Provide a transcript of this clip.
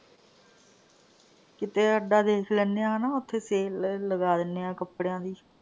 ਕਿਤੇ ਅੱਡਾ ਦੇਖ ਲੈਂਨੇ ਆ ਹਨਾ, ਉਥੇ sale ਲਗਾ ਦਿਨੇ ਆ ਕੱਪੜਿਆਂ ਦੀ।